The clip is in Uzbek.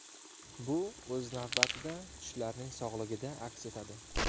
Bu, o‘z navbatida, tishlarning sog‘ligida aks etadi.